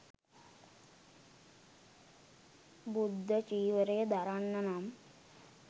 බුද්ධ චීවරය දරන්න නම්,